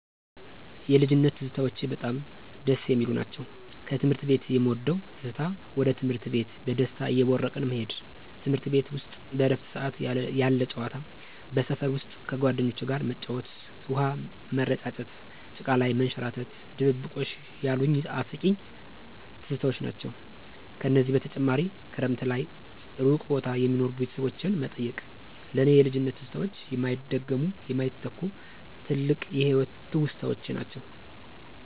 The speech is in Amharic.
የልጅነት ትዝታዎቼ በጣም ደስ የሚሉ ናቸው። ከትምህርት ቤት የምወደው ትዝታ ወደ ትምህርት ቤት በደስታ እየቦረቅን መሄድ፤ ትምርት ቤት ውስጥ በእረፍት ሰዓት ያለ ጨዋታ። በሰፈር ውስጥ ከጓደኞቼ ጋር መጫወት፣ ውሃ ምረጫጨት፣ ጭቃ ላይ መንሸራረት፣ ድብብቆሽ ያሉኝ አስቂኝ ትዝታዎች ናቸው። ከዚህ በተጨማሪ ክረምት ላይ እሩቅ ቦታ የሚኖሩ ቤተሰቦችን መጠየቅ። ለእኔ የልጅነት ትዝታዎች የማይደገሙ፣ የማይተኩ፣ ትልቅ የህይወት ትውስታዎች ናቸው።